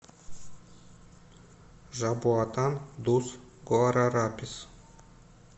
жабоатан дус гуарарапис